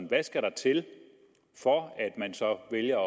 hvad skal der til for at man så vælger